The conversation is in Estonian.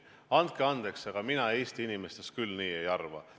Andke andeks, aga mina Eesti inimestest küll nii ei arva.